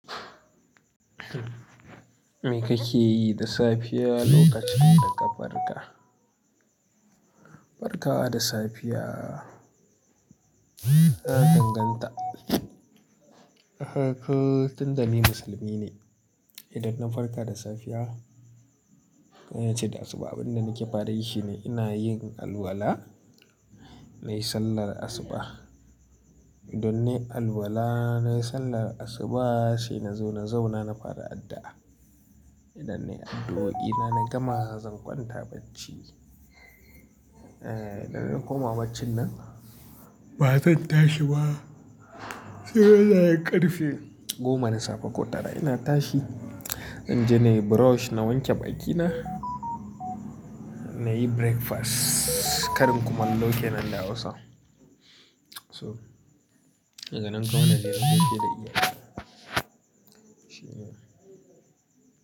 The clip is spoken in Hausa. Me kake yi da safiya lokacin da ka farka? Farkawa da safiya, ya danganta. Eh kun, tunda ni musulmi ne. Idan na farka da safiya, ko nace da asuba, abin da nake fara yi shi ne ina yin alwala, nayi sallar asuba. Idan nayi alwala, nayi sallar asuba, sai na zo na zauna na fara addu'a. Idan nayi addu'o'i na, na gama zan kwanta bacci. Eh, idan na koma baccin nan, ba zan tashi ba sai wajajen ƙarfe goma na safe ko tara ina tashi In je na yi brush, na wanke bakina, na yi breakfast, karin kumallo kenan da Hausa. To, daga nan kuma naje na gaishe da iyayena.